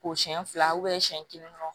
Ko siɲɛ fila siɲɛ kelen